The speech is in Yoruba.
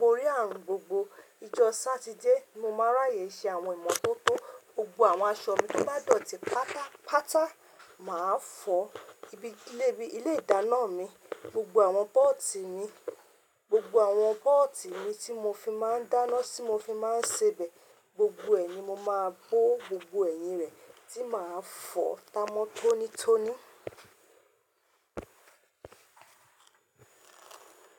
borí ààrùn gbogbo. Ijọ́ Sátidé ni mo máa ń ráyè ṣe àwọn ìmọ́tótó. Gbogbo àwọn aṣọ mi bá dọ̀tí pátápátá, màá fọ̀. Ibi ilé bí ilé ìdáná mi, gbogbo àwọn pọ́ọ̀tì mi, gbogbo àwọn pọ́ọ̀tì mi tí mo fi máa ń dáná, tí mo fi máa ń sebẹ̀, gbogbo ẹ̀ ni mo máa bó, gbogbo ẹ̀yìn rẹ̀ tí màá fọ̀ tá mọ́tónítóní.